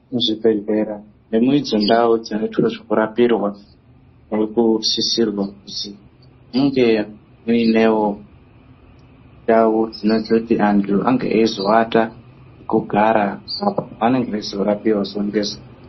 Zvibhedhlera nemudzindau dzinoitwe zvekurapirwa murikusisirwa kuzi munge muinewo ndau dzinozoti antu ange eizoata nekugara apo anenge eirapiwa zuva ngezuva.